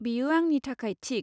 बेयो आंनि थाखाय थिक।